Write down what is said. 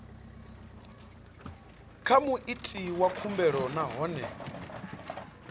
kha muiti wa khumbelo nahone